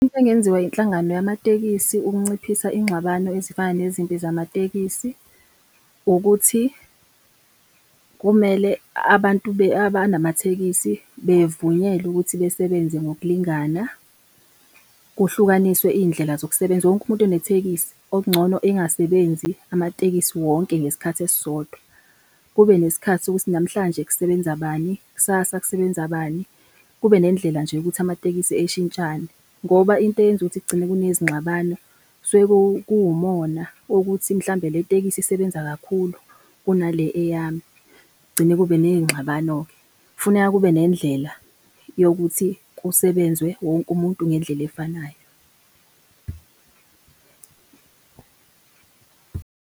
Into engenziwa inhlangano yamatekisi ukunciphisa inxabano ezifana nezimpi zamatekisi, ukuthi kumele abantu abanamathekisi bevunyelwe ukuthi besebenze ngokulingana, kuhlukaniswe iy'ndlela zokusebenza, wonke umuntu onethekisi okuncono engasebenzi amatekisi wonke ngesikhathi esisodwa. Kube nesikhathi sokuthi namhlanje kusebenza bani? Kusasa kusebenza bani? Kube nendlela nje yokuthi amatekisi eshintshane. Ngoba into eyenza ukuthi kugcine kunezinxabano, kusuke kuwumona wokuthi mhlawumbe le tekisi isebenza kakhulu kunale eyami, kugcine kube ney'nxabano-ke. Kufuneka kube nendlela yokuthi kusebenzwe wonke umuntu ngendlela efanayo.